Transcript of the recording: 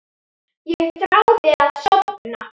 Ég þráði að sofna.